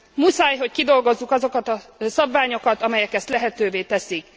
Muszáj, hogy kidolgozzuk azokat a szabványokat, amelyek ezt lehetővé teszik!